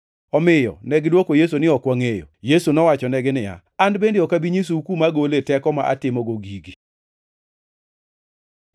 Omiyo negidwoko Yesu niya, “Ok wangʼeyo.” Yesu nowachonegi niya, “An bende ok abi nyisou kuma agole teko ma atimogo gigi.”